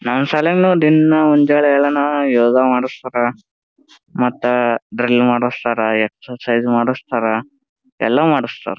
ನಮ್ ಶಾಲೆಗ್ನು ದಿನ ಮುಂಜಾನೆ ಏಳನ ಯೋಗ ಮಾಡಸ್ತಾರ ಮತ್ತ ಡ್ರಿಲ್ ಮಾಡಸ್ತಾರ ಎಕ್ಸರಸೈಜ ಮಾಡಸ್ತಾರ ಎಲ್ಲ ಮಾಡಸ್ತಾರ.